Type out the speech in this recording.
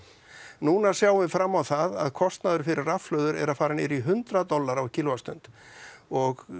núna sjáum við fram á það að kostnaður fyrir rafhlöður er að fara niður í hundrað dali á kílówattsstund og